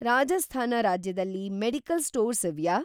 ರಾಜಸ್ಥಾನ ರಾಜ್ಯದಲ್ಲಿ medical stores ಇವ್ಯಾ?